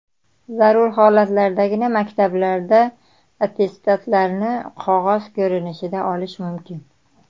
Zarur holatlardagina maktablarda attestatlarni qog‘oz ko‘rinishida olish mumkin.